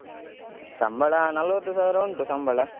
ಸಂಬಳ ನಲವತ್ತು ಸಾವಿರ ಉಂಟು ಸಂಬಳ.